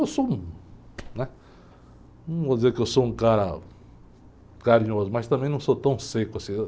Eu sou um, né? Eu não vou dizer que eu sou um cara carinhoso, mas também não sou tão seco assim.